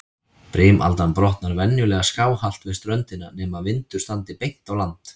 Brimaldan brotnar venjulega skáhallt við ströndina, nema vindur standi beint á land.